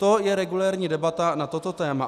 To je regulérní debata na toto téma.